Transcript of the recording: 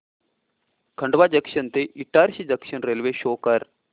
Khandwa junction ते Itarsi junction railway show कर